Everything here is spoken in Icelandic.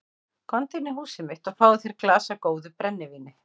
Komdu inn í húsið mitt og fáðu þér í glas af góðu brennivíni.